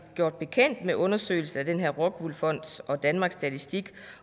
gjort bekendt med undersøgelsen fra den her rockwoolfond og danmarks statistik